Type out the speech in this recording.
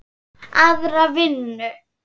Aðra vinnu?